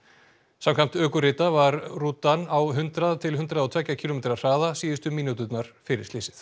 samkvæmt ökurita var rútan á hundrað til hundrað og tveggja kílómetra hraða síðustu mínúturnar fyrir slysið